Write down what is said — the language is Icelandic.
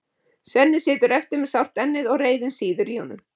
Svenni situr eftir með sárt ennið og reiðin sýður í honum.